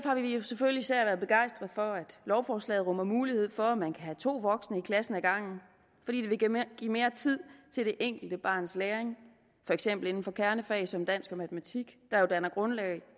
har vi jo selvfølgelig især været begejstret for at lovforslaget rummer mulighed for at man kan have to voksne i klassen ad gangen fordi det vil give mere tid til det enkelte barns læring for eksempel inden for kernefag som dansk og matematik der jo danner grundlag